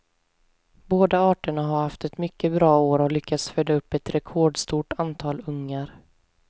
Båda arterna har haft ett mycket bra år och lyckats föda upp ett rekordstort antal ungar.